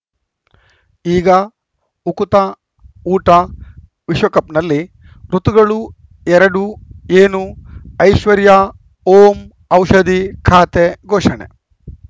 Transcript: ಈಗ ಉಕುತ ಊಟ ವಿಶ್ವಕಪ್‌ನಲ್ಲಿ ಋತುಗಳು ಎರಡು ಏನು ಐಶ್ವರ್ಯಾ ಓಂ ಔಷಧಿ ಖಾತೆ ಘೋಷಣೆ